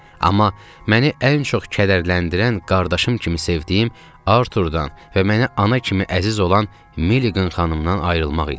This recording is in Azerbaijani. Amma məni ən çox kədərləndirən qardaşım kimi sevdiyim Arturdan və mənə ana kimi əziz olan Milliqan xanımdan ayrılmaq idi.